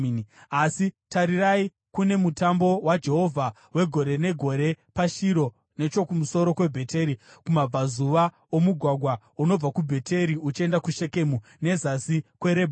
Asi tarirai, kune mutambo waJehovha wegore negore paShiro, nechokumusoro kweBheteri, kumabvazuva omugwagwa unobva kuBheteri uchienda kuShekemu, nezasi kweRebhona.”